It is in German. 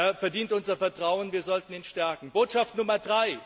Er verdient unser Vertrauen, wir sollten ihn stärken. Botschaft Nr.